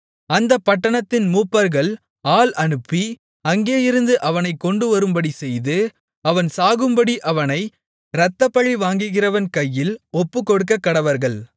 அந்தப் பட்டணத்தின் மூப்பர்கள் ஆள் அனுப்பி அங்கேயிருந்து அவனைக் கொண்டுவரும்படி செய்து அவன் சாகும்படி அவனை இரத்தப்பழி வாங்குகிறவன் கையில் ஒப்புக்கொடுக்கக்கடவர்கள்